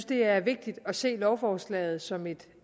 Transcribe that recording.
det er vigtigt at se lovforslaget som et